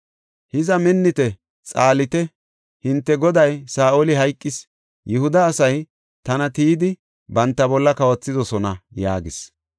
Hiza minnite; xaalite; hinte goday Saa7oli hayqis. Yihuda asay tana tiyidi, banta bolla kawothidosona” yaagis.